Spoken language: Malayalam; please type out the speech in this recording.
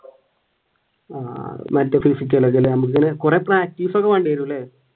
ആഹ് കുറെ പ്രാക്ടീസ് ഒക്കെ വേണ്ടിവരുമല്ലേ?